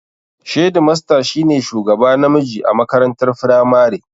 Shedimasta shi ne shugaba namiji a makarantar firamare